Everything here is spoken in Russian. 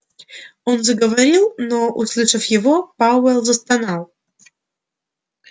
он заговорил но услышав его пауэлл застонал